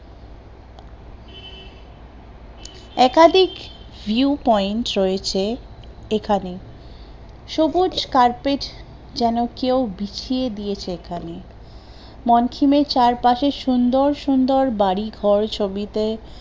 একাধিক view point রয়েছে এখানে, সবুজ carpet যেন কেউ বিছিয়ে দিয়েছে এখানে মঙ্কিমের চারপাশে সুন্দর সুন্দর বাড়িঘর ছবিতে